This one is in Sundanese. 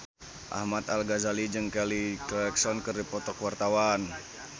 Ahmad Al-Ghazali jeung Kelly Clarkson keur dipoto ku wartawan